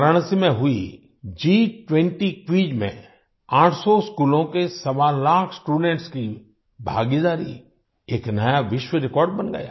वाराणसी में हुई G20 quiz में 800 स्कूलों के सवा लाख स्टूडेंट्स स्टूडेंट्स की भागीदारी एक नया विश्व रिकॉर्ड बन गया